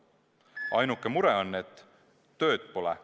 Ainuke mure on, et tööd pole.